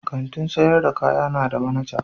Kantin sayar da kaya na da manaja.